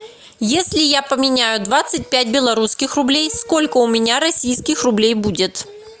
если я поменяю двадцать пять белорусских рублей сколько у меня российских рублей будет